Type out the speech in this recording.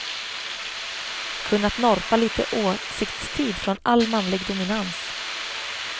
Kunnat norpa lite åsiktstid från all manlig dominans.